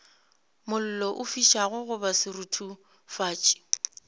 mollo o fišago goba seruthufatši